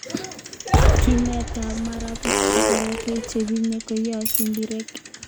Kinetab marabaik ak korotik che biriren konyai simbirek